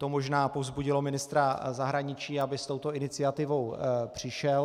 To možná povzbudilo ministra zahraničí, aby s touto iniciativou přišel.